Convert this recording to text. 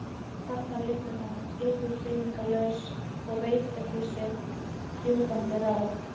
Þarna liggur hann hreyfingarlaus og veit ekki sitt rjúkandi ráð.